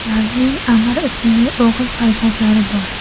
Ularning Amir ismli o‘g‘il farzandlari bor.